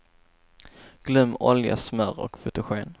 Glöm olja, smör och fotogen.